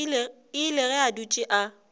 ile ge a dutše a